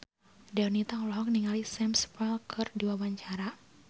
Donita olohok ningali Sam Spruell keur diwawancara